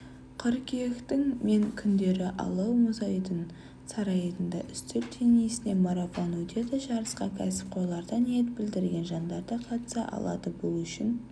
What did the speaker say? қыркүйектің мен күндері алау мұзайдын сарайында үстел теннисінен марафон өтеді жарысқа кәсіпқойлар да ниет білдірген жандар да қатыса алады бұл үшін